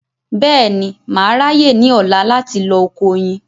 Bẹ́ẹ̀ni, mà á ráyè ní ọ̀la láti lọ oko oyin